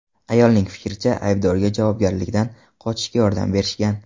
Ayolning fikricha, aybdorga javobgarlikdan qochishga yordam berishgan.